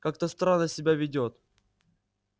как-то странно себя ведёт